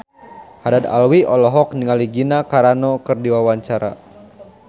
Haddad Alwi olohok ningali Gina Carano keur diwawancara